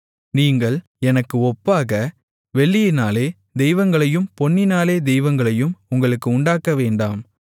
நீங்கள் எனக்கு ஒப்பாக வெள்ளியினாலே தெய்வங்களையும் பொன்னினாலே தெய்வங்களையும் உங்களுக்கு உண்டாக்க வேண்டாம்